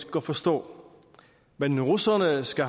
godt forstå men russerne skal